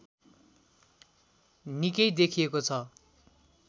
निकै देखिएको छ